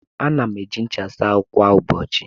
Ana m eji ncha asa ahụ kwa ụbọchị.